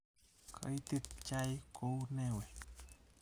Koitit chaik kou nee we?